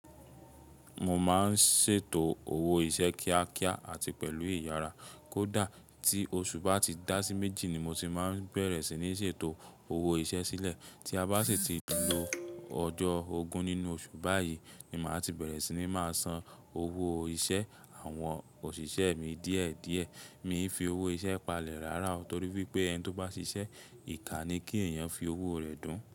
Mo máa ń ṣètò owó iṣẹ́ kíákíá àti pẹ̀lú ìyara. Kódà tí oṣù bá ti dá sí méjì ni mo ti máa ń bẹ̀rẹ̀ sí ní ṣètò owó iṣẹ́ sílẹ̀. Tí a bá sì ti lo ọjọ́ ogún nínú oṣù báyìí ni màá ti bẹ̀rẹ̀ sí ní máa san owó iṣẹ́ àwọn òṣìṣẹ́ mi díẹ̀díẹ̀. Mi ń fi owó iṣẹ́ palẹ̀ rárá o torí pé ẹni tó bá ṣiṣẹ́, ìkà ni kí èèyàn fi owó rẹ̀ dún.